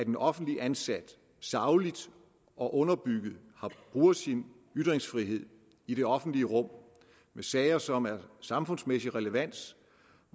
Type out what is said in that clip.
en offentligt ansat sagligt og underbygget bruger sin ytringsfrihed i det offentlige rum i sager som er af samfundsmæssig relevans